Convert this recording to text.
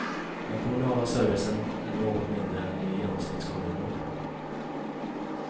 Den kommunala servicen är något mindre än i genomsnittskommunen.